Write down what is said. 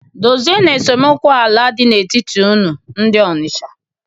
Dozienu esemokwu ala dị n'etiti unu ndị Ọnịcha!